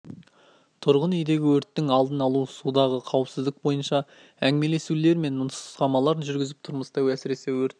тұрғын үйдегі өрттің алдын алу судағы қауіпсіздік бойынша әңгімелесулер мен нұсқамалар жүргізіп тұрмыста әсіресе өрт